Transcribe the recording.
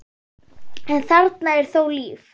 en þarna er þó líf.